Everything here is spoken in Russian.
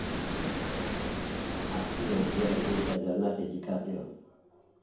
афина где родился леонардо дикаприо